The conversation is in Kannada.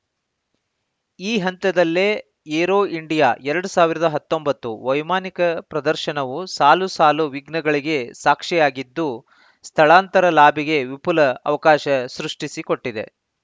ಈ ಹಂತದಲ್ಲೇ ಏರೋ ಇಂಡಿಯಾ ಎರಡ್ ಸಾವಿರದ ಹತ್ತೊಂಬತ್ತು ವೈಮಾನಿಕ ಪ್ರದರ್ಶನವು ಸಾಲುಸಾಲು ವಿಘ್ನಗಳಿಗೆ ಸಾಕ್ಷಿಯಾಗಿದ್ದು ಸ್ಥಳಾಂತರ ಲಾಬಿಗೆ ವಿಪುಲ ಅವಕಾಶ ಸೃಷ್ಟಿಸಿಕೊಟ್ಟಿದೆ